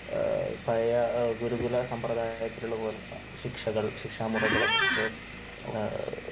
പഴയ ഗുരുകുല സമ്പ്രദായത്തിലുള്ള പോലുള്ള ശിക്ഷകൾ, ശിക്ഷാ മുറകളൊക്കെ